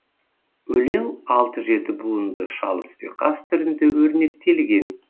өлең алты жеті буынды шалыс ұйқас түрінде өрнектелген